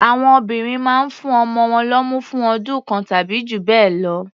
Àwọn obìnrin mán ń fún ọmọ wọn lọ́mú fún ọdún kan tàbí jù bẹ́ẹ̀ lọ.